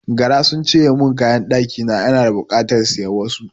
Gara sun cinye mun kayan ɗakina, ina da bukatar siyan wasu.